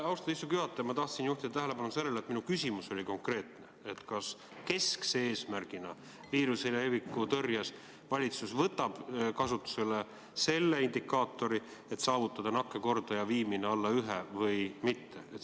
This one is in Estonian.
Austatud istungi juhataja, ma tahtsin juhtida tähelepanu sellele, et mu küsimus oli konkreetne: kas keskse eesmärgina viiruse leviku tõrjes valitsus võtab kasutusele selle indikaatori, et püüab saavutada nakkuskordaja viimise alla ühe?